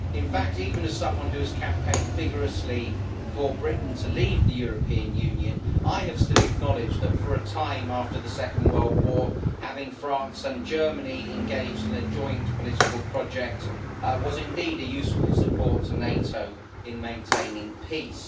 In fact, even as someone who has campaigned vigorously for Britain to leave the European Union, I have still acknowledged that, for a time after the Second World War, having France and Germany engaged in a joint political project was indeed a useful support to NATO in maintaining peace.